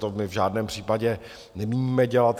To my v žádném případě nemíníme dělat.